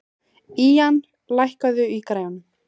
Ían, lækkaðu í græjunum.